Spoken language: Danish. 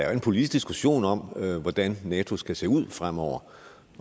jo en politisk diskussion om hvordan nato skal se ud fremover